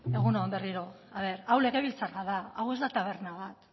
egun on berriro hau legebiltzarra da hau ez da taberna bat